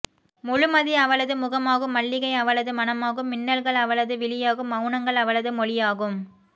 முழுமதி அவளது முகமாகும் மல்லிகை அவளது மணமாகும் மின்னல்கள் அவளது விழியாகும் மௌனங்கள் அவளது மொழியாகும்